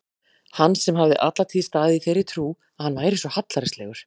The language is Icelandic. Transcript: Hann sem hafði alla tíð staðið í þeirri trú að hann væri svo hallærislegur!